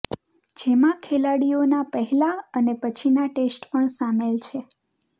જેમાં ખેલાડીઓના પહેલા અને પછીના ટેસ્ટ પણ સામેલ છે